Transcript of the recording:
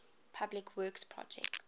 public works projects